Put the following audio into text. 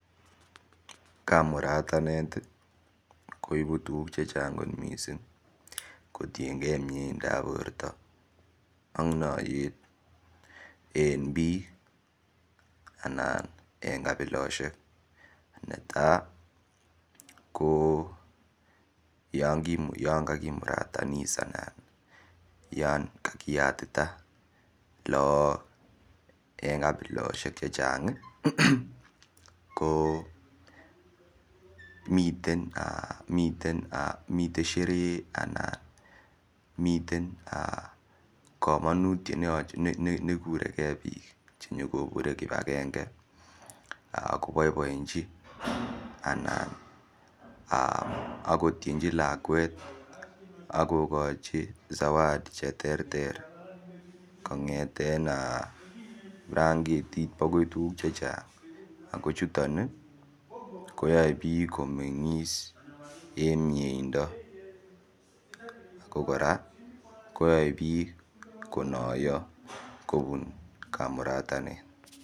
Kamuratanet koibu tukuk chechang kot mising kotienkei mieindap borto ak noiyet en biik anan en kabiloshek netai ko yon kakimuratanis anan yon kakiyatita laak eng kabiloshek che chang ko miten sheree anan miten komonutiet nekureke biik cheyekobure kibakenge koboibochi anan akotienji lakwet akokochi zawadi che ter ter kongeten blanketit akoi tukuk che chang ako chuton koyoe biik komengis eng mieindo ako kora koyoe biik konoiyo kobun kamuratanet.